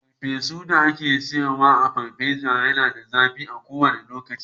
farfesu da ake sayar a paparazzi Yana da zafi a kowanda lokaci.